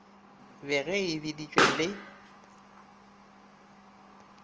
be ge e bedišitšwe le